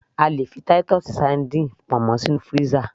a lè fi Titus sardines pamọ́ sí inú freezer